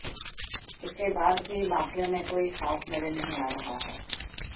इसके बाद भी माफियों में कोई खौफ नजर नहीं आ रहा है